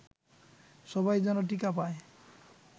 সবাই যেন টিকা পায়